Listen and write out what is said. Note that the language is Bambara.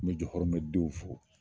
N bɛ jɔhɔrɔmɛ denw fo.